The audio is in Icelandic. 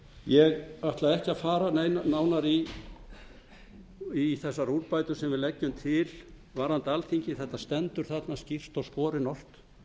ég ætla ekki að fara nánar í þessar úrbætur sem við leggjum til varðandi alþingi þetta stendur anda skýrt og skorinort